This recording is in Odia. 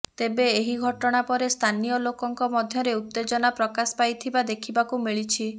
ତେବେ ଏହି ଘଟଣା ପରେ ସ୍ଥାନୀୟ ଲୋକଙ୍କ ମଧ୍ୟରେ ଉତ୍ତେଜନା ପ୍ରକାଶ ପାଇଥିବା ଦେଖିବାକୁ ମିଳିଛି